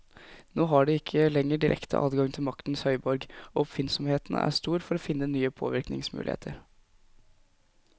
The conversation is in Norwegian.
Nå har de ikke lenger direkte adgang til maktens høyborg, og oppfinnsomheten er stor for å finne nye påvirkningsmuligheter.